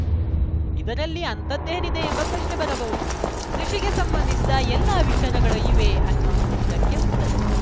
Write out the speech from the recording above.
ಇದರಲ್ಲಿ ಅಂಥದ್ದೇನಿದೆ ಎಂಬ ಪ್ರಶ್ನೆ ಬರಬಹುದು ಕೃಷಿಗೆ ಸಂಬಂಧಿಸಿದ ಎಲ್ಲ ವಿಚಾರಗಳೂ ಇವೆ ಅನ್ನೋದು ಇದಕ್ಕೆ ಉತ್ತರ